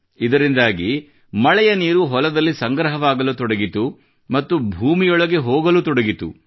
ಇದರಿಂದಾಗಿ ಮಳೆಯ ನೀರು ಹೊಲದಲ್ಲಿ ಸಂಗ್ರಹವಾಗಲು ತೊಡಗಿತು ಮತ್ತು ಭೂಮಿಯೊಳಗೆ ಹೋಗತೊಡಗಿತು